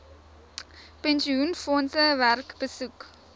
pensioenfondse werk besoek